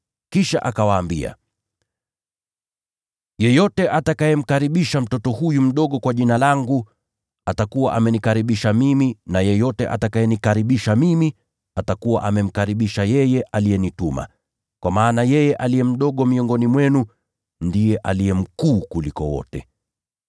Kisha akawaambia, “Yeyote amkaribishaye mtoto huyu mdogo kwa Jina langu, anikaribisha mimi, na yeyote atakayenikaribisha mimi, atakuwa amemkaribisha yeye aliyenituma. Kwa maana yeye aliye mdogo miongoni mwenu, ndiye aliye mkuu kuliko wote.”